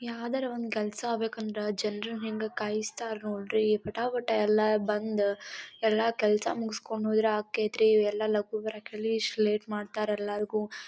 ಯಾದರೆ ಒಂದ ಕೆಲಸ ಆಬೇಕಂದ್ರ ಜನರಿಗ ಹಿಂಗ ಕಾಯಿಸ್ತಾರ್ ನೋಡ್ರಿ ವಟ ವಟ ಎಲ್ಲ ಬಂದ ಎಲ್ಲಾ ಕೆಸಾ ಮುಗಿಸಿಕೊಂಡ ಹೋಯಿರ ಆಕಯ್ತ್ರಿ ಇವ್ ಎಲ್ಲ ಲಗು ಬರಕ್ ಹೇಳಿ ಇಷ್ಟು ಲೇಟ್ ಮಾಡ್ತಾರ ಎಲ್ಲರಿಗೂ .]